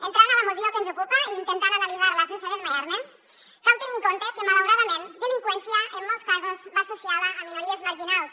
entrant a la moció que ens ocupa i intentant analitzar la sense desmaiar me cal tenir en compte que malauradament la delinqüència en molts casos va associada a minories marginals